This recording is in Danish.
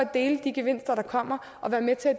dele de gevinster der kommer og være med til at